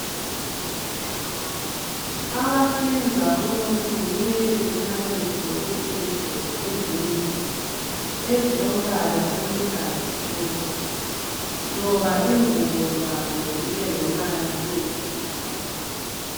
Abahlinza umuntu kumele behlale begqoke izigqoko ezinde ezilombala oluhlaza tshoko loba ingubo zabo zibe lombala oyisibhakabhaka.